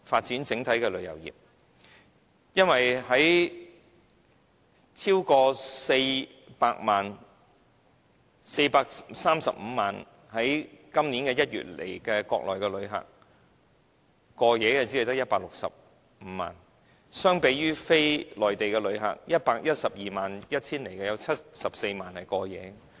因為今年1月來港的435萬名國內旅客之中，過夜的只有165萬人，相比非內地旅客在 1,121 000人之中，有74萬人在此過夜。